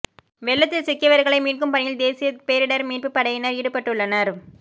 வெள்ளத்தில் சிக்கியவர்களை மீட்கும் பணியில் தேசிய பேரிடர் மீட்புப் படையினர் ஈடுபட்டுள்ளனர்